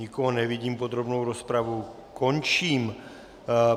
Nikoho nevidím, podrobnou rozpravu končím.